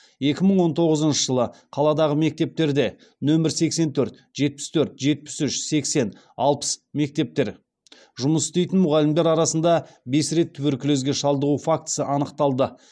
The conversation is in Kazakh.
екі мың он тоғызыншы жылы қаладағы мектептерде нөмір сексен төрт жетпіс төрт жетпіс үш сексен алпыс мектептер жұмыс істейтін мұғалімдер арасында бес рет туберкулезге шалдығу фактісі анықталды